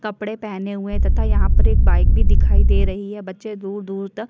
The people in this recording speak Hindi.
कपडे पहने हुए हैं तथा यहाँ पर एक बाइक भी दिखाई दे रही है। बच्चे दूर दूर तक --